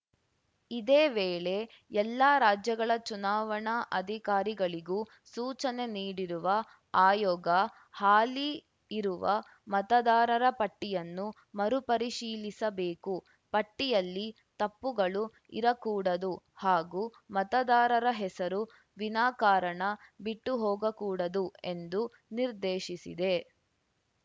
ಇದೇ ವೇಳೆ ಎಲ್ಲಾ ರಾಜ್ಯಗಳ ಚುನಾವಣಾ ಅಧಿಕಾರಿಗಳಿಗೂ ಸೂಚನೆ ನೀಡಿರುವ ಆಯೋಗ ಹಾಲಿ ಇರುವ ಮತದಾರರ ಪಟ್ಟಿಯನ್ನು ಮರುಪರಿಶೀಲಿಸಬೇಕು ಪಟ್ಟಿಯಲ್ಲಿ ತಪ್ಪುಗಳು ಇರಕೂಡದು ಹಾಗೂ ಮತದಾರರ ಹೆಸರು ವಿನಾಕಾರಣ ಬಿಟ್ಟುಹೋಗಕೂಡದು ಎಂದೂ ನಿರ್ದೇಶಿಸಿದೆ